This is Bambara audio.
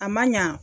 A man ɲa